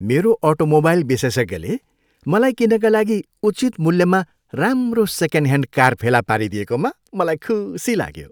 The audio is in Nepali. मेरो अटोमोबाइल विशेषज्ञले मलाई किन्नका लागि उचित मूल्यमा राम्रो सेकेन्डह्यान्ड कार फेला पारिदिएकोमा मलाई खुसी लाग्यो।